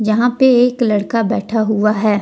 यहां पे एक लड़का बैठा हुआ है।